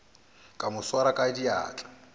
ka mo swara ka diatla